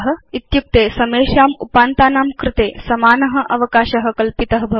इत्युक्ते समेषाम् उपान्तानां कृते समान अवकाश कल्पित भवति